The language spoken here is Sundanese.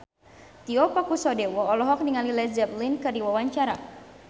Tio Pakusadewo olohok ningali Led Zeppelin keur diwawancara